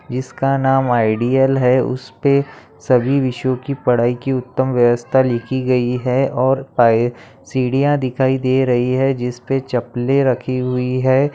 जिसका नाम आइडियल है उसपे सभी विषयों की पढ़ाई की उत्तम व्यवस्था लिखी गई है| और सीढियाँ दिखाई दे रही है जिसपे चपलें रखी हुई है।